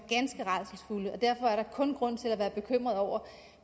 der kun grund til at være bekymret over